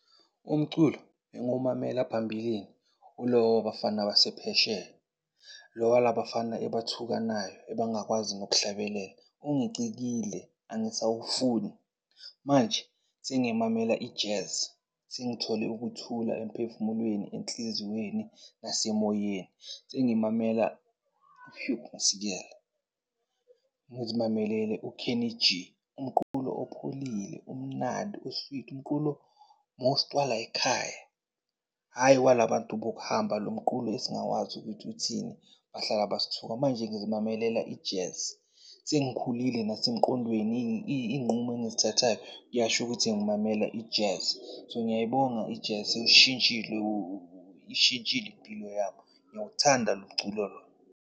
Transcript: Umculo ebengumamela phambilini ulo wabafana basephesheya lo walabafana ebathukanayo ebangakwazi nokuhlabelela ungicikile angisawufuni, angisawufuni. Manje sengimamela i-Jazz sengithole ukuthula emphefumulweni, enhliziyweni nasemoyeni. Sengimamela uHugh Masikela, ngizimamelele uKenny G, umqulo opholile omnando, o-sweet, umqulo most wala yikhaya hhayi walabantu bokuhamba lomqulo esingawazi ukuthi uthini, bahlala basithuka. Manje ngizimamelela i-Jazz. Sengikhulile nasemqondweni, iy'nqumo engizithathayo kuyasho ukuthi ngimamela i-Jazz. So ngiyayibonga i-Jazz iwushintshile, ishintshile impilo yami. Ngiyawuthanda lo mculo lo.